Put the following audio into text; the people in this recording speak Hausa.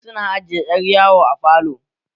Wasu su na aje ƴar yawo a falo